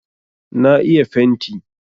Na iya fenti.